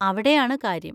അവിടെയാണ് കാര്യം.